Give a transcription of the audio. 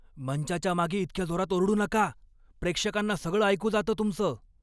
मंचाच्या मागे इतक्या जोरात ओरडू नका. प्रेक्षकांना सगळं ऐकू जातं तुमचं.